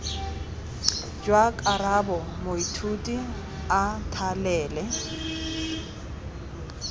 jwa karabo moithuti a thalele